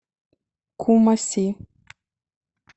кумаси